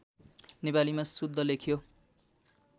नेपालीमा शुद्ध लेख्यो